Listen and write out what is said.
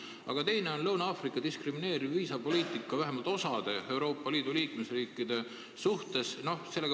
Aga teine on Lõuna-Aafrika diskrimineeriv viisapoliitika, vähemalt osa Euroopa Liidu liikmesriikide suhtes.